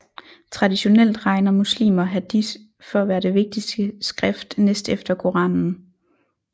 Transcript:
Traditionelt regner muslimer Hadith for at være det vigtigste skrift næst efter Koranen